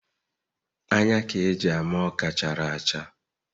Anya ka e ji ama Ọka chara acha